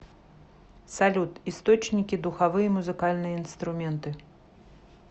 салют источники духовые музыкальные инструменты